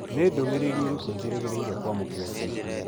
Nĩ ndũmĩrĩri ĩrĩkũ njĩrĩgĩrĩire kwamũkĩra ica ikuhĩ?